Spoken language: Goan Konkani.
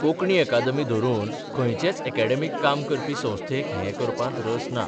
कोंकणी अकादमी धरून खंयचेच अॅकॅडॅमिक काम करपी संस्थेक हें करपांत रस ना.